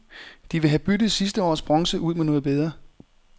De vil have byttet sidste års bronze ud med noget bedre.